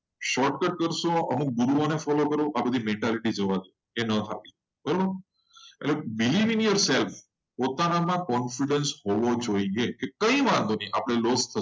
કરશો અમુક ગુરુઓને ફોલો કરશો તો નહીં મજા આવે. પોતાના confidence હોવો જોઈએ.